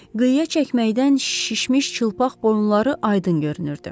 Qıyğa çəkməkdən şişmiş çılpaq boyunları Aydın görünürdü.